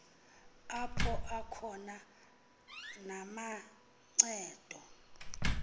apho akhona namancedo